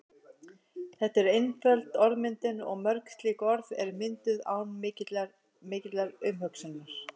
Þetta er einföld orðmyndun og mörg slík orð eru mynduð án mikillar umhugsunar.